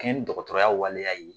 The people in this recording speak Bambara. kɛɲɛ ni dɔgɔtɔrɔya waleya ye.